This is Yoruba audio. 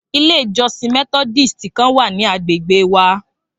Ilé ìjọsìn methodist kan wa ní agbègbè wa